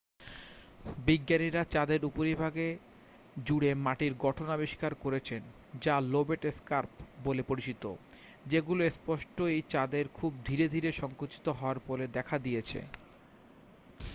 বিজ্ঞানীরা চাঁদের উপরিভাগ জুড়ে মাটির গঠন আবিষ্কার করেছেন যা লোবেট স্কার্প বলে পরিচিত যেগুলো স্পষ্টতই চাঁদের খুব ধীরে ধীরে সঙ্কুচিত হওয়ার ফলে দেখা দিয়েছে